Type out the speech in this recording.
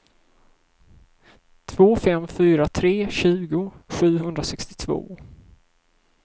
två fem fyra tre tjugo sjuhundrasextiotvå